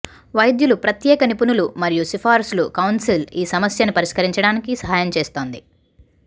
వైద్యులు ప్రత్యేక నిపుణులు మరియు సిఫార్సులు కౌన్సిల్స్ ఈ సమస్యను పరిష్కరించడానికి సహాయం చేస్తుంది